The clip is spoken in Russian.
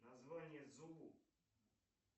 название зулу